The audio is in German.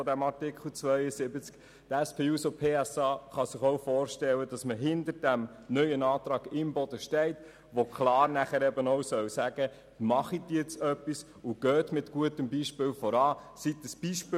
Die SP-JUSO-PSA-Fraktion kann sich auch gut vorstellen, hinter diesem neuen Antrag Imboden zu stehen, der die öffentliche Hand zum Handeln auffordert, sowie dazu, mit gutem Beispiel voranzugehen.